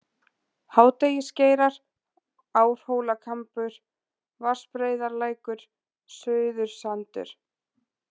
Hádegisgeirar, Árhólakambur, Vatnsbreiðarlækur, Suðursandur